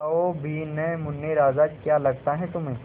बताओ भी न मुन्ने राजा क्या लगता है तुम्हें